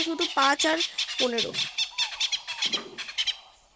শুধু পাঁচ আর পনেরো